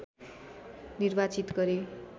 निर्वाचित गरे